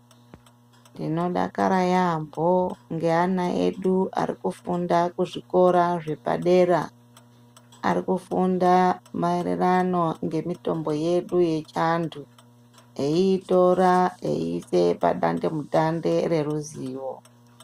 Ndinodakara yaambo ngeana edu arikufunda kuzvikora zvepadera. Arikufunda maererano ngemitombo yedu yechiantu eiitora eiise padande-mutande reruzivo.